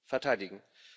verteidigen.